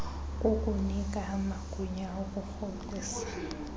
kukunika amagunya okurhoxisa